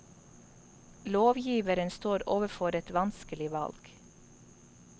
Lovgiveren står overfor et vanskelig valg.